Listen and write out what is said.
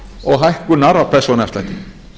og hækkunar á persónuafslætti